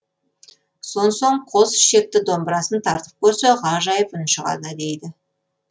сонсоң қос ішекті домбырасын тартып көрсе ғажайып үн шығады дейді